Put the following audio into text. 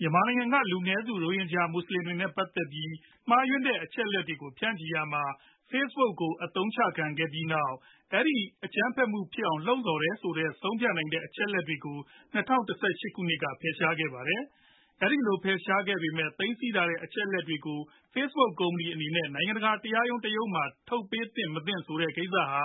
မြန်မာနိုင်ငံက လူနည်းစု ရိုဟင်ဂျာ မူဆလင်တွေနဲ့ ပတ်သက်ပြီး မှားယွင်းတဲ့ အချက်အလက်တွေကို ဖြန့်ချီရာမှာ Facebook က အသုံးချခံခဲ့ရပြီးနောက် အဲဒီအကြမ်းဖက်မှု ဖြစ်အောင်လှုံ့ဆော်တယ်လို့ ဆုံးဖြတ်နိုင်တဲ့ အချက်အလက်တချို့ကို ၂ဝ၁၈ ကစပြီး ဖယ်ရှားခဲ့ပါတယ်။ အဲဒီလို ဖယ်ရှားပေမဲ့ သိမ်းဆည်းထားဆဲ အချက်အလက်တွေကို Facebook ကုမ္ပဏီအနေနဲ့ နိုင်ငံတကာ တရားရုံးတရုံးမှာ ထုတ်ပေး သင့်မသင့်ဆိုတဲ့ ကိစ္စဟာ